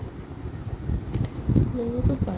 ওলা'বতো পাৰিম